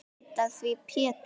Viltu breyta því Pétur.